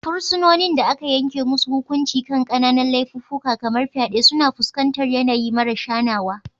Fursunonin da aka yanke musu hukunci kan kananan laifuffuka kamar fyade suna fuskantar yanayi maras hanawa.